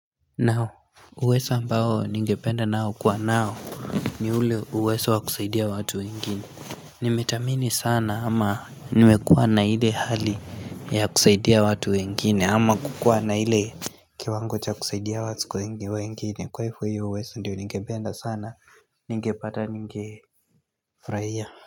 Uwezo ambao ningependa nao kwa nao ni ule uwezo wa kusaidia watu wengine Nimethamini sana ama nimekuwa na hile hali ya kusaidia watu wengine ama kukuwa na ile kiwango cha kusaidia watu wengine kwa hivyo hiyo uwezo ndiyo ningependa sana ningepata ningefurahia.